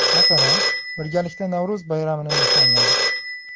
Masalan, birgalikda Navro‘z bayramini nishonladik.